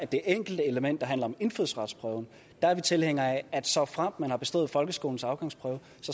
det enkelte element der handler om indfødsretsprøven er vi tilhænger af at såfremt man har bestået folkeskolens afgangsprøve